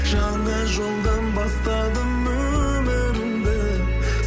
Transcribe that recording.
жаңа жолдан бастадым өмірімді